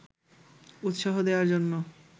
উৎসাহ দেওয়ার জন্য